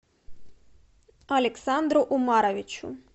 александру умаровичу